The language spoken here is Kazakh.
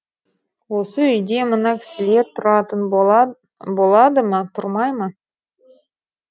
осы үйде мына кісілер тұратын болады ма тұрмай ма